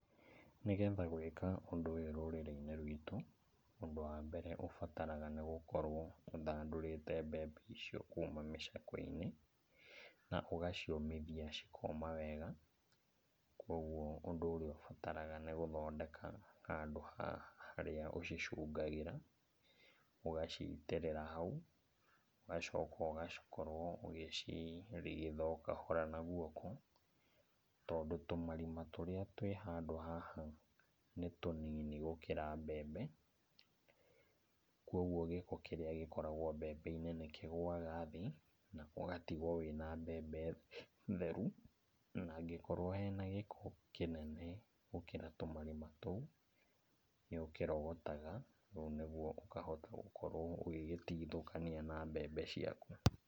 Nĩgetha gũĩka ũndũ ũyũ rũrĩrĩ-inĩ rwitũ, ũndũ wa mbere, ũbataraga nĩ gũkorwo ũthandũrĩte mbembe icio kuma mĩcakwe-inĩ, na ũgaciũmithia cikoma wega. Koguo ũndũ ũrĩa ũbataraga nĩ gũthondeka handũ harĩa ũcicungagĩra, ũgacitĩrĩra hau, ũgacoka ũgakorwo ũgĩcirigitha o kahora na guoko, tondũ tũmarima tũrĩa twĩ handũ haha nĩ tũnini gũkĩra mbembe, koguo gĩko kĩrĩa gĩkoragwo mbembe-inĩ nĩ kĩgũaga thĩ na ũgatigwo wĩ na mbembe theru. Na angĩkorwo hena gĩko kĩnene gũkĩra tũmarima tũu nĩ ũkĩrogotaga, naguo ũkahota gũkorwo ũgĩgĩtithũkania na mbembe ciaku